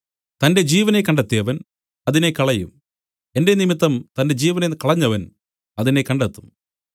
തന്റെ ജീവനെ കണ്ടെത്തിയവൻ അതിനെ കളയും എന്റെ നിമിത്തം തന്റെ ജീവനെ കളഞ്ഞവൻ അതിനെ കണ്ടെത്തും